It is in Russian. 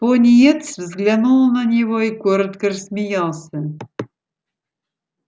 пониетс взглянул на него и коротко рассмеялся